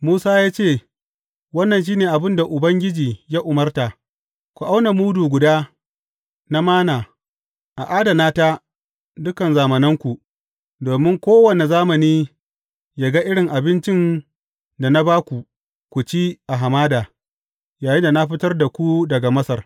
Musa ya ce, Wannan shi ne abin da Ubangiji ya umarta, Ku auna mudu guda na Manna, a adana ta dukan zamananku, domin kowane zamani yă ga irin abincin da na ba ku ku ci a hamada, yayinda na fitar da ku daga Masar.’